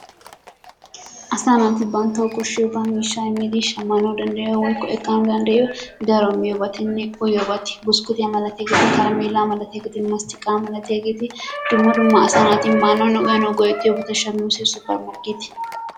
Asaa naati banttawu koshshiyabaa miishshaa immidi shammanawu danddayiyo woykko ekkanawu danddayiyo daro miyobatinne uyiyobati buskkutiya malatiyageeti, karameellaa malatiyageeti, masttiqaa malatiyageeti dumma dumma asaa naati maanawunne uyanawu go'ettiyobati shammiyosay,,,